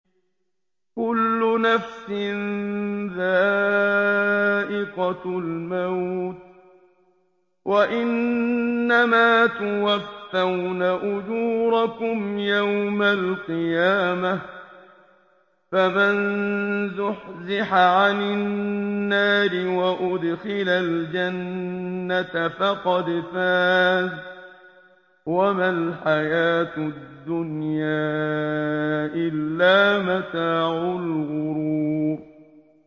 كُلُّ نَفْسٍ ذَائِقَةُ الْمَوْتِ ۗ وَإِنَّمَا تُوَفَّوْنَ أُجُورَكُمْ يَوْمَ الْقِيَامَةِ ۖ فَمَن زُحْزِحَ عَنِ النَّارِ وَأُدْخِلَ الْجَنَّةَ فَقَدْ فَازَ ۗ وَمَا الْحَيَاةُ الدُّنْيَا إِلَّا مَتَاعُ الْغُرُورِ